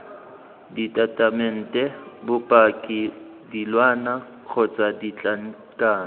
ditatamente bopaki dilwana kgotsa ditlankana